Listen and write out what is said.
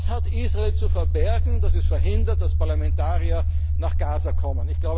zu sehen. Was hat Israel zu verbergen, dass es verhindert, dass Parlamentarier nach Gaza